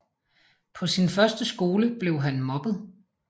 På sin første skole blev han mobbet